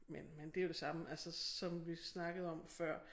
Men men det jo det samme altså som vi snakkede om før